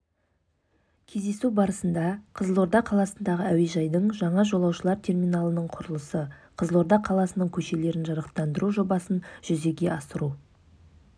кездесу барысында қызылорда қаласындағы әуежайдың жаңа жолаушылар терминалының құрылысы қызылорда қаласының көшелерін жарықтандыру жобасын жүзеге асыру